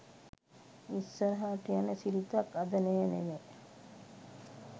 ඉස්සරහට යන සිරිතක් අද නෑ නෙව.